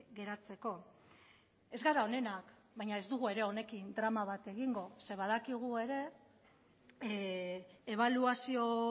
geratzeko ez gara onenak baina ez dugu ere honekin drama bat egingo zeren badakigu ere ebaluazio